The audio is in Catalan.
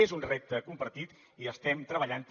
és un repte compartit i estem treballant hi